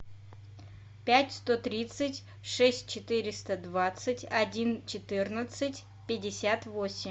пять сто тридцать шесть четыреста двадцать один четырнадцать пятьдесят восемь